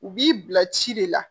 U b'i bila ci de la